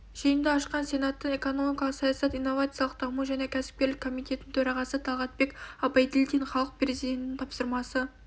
жиынды ашқан сенаттың экономикалық саясат инновациялық даму және кәсіпкерлік комитетінің төрағасы талғатбек абайділдин халық президенттің тапсырмасы